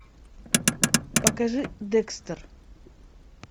покажи декстер